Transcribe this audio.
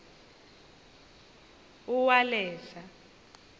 uwaleza